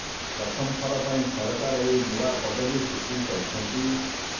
ପ୍ରଥମ ଥର ପାଇଁ ସରକାର ଏହି ନୂଆ ପଦବି ସୃଷ୍ଟି କରିଛନ୍ତି